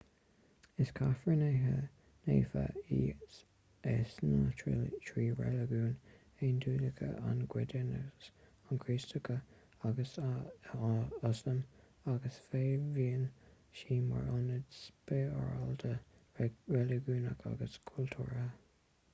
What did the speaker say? is cathair naofa í i sna trí reiligiún aondiachúla an giúdachas an chríostaíocht agus ioslam agus feidhmíonn sí mar ionad spioradálta reiligiúnach agus cultúrtha